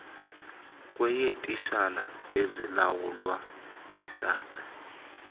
kweyeetitshala ezilawulwa yisace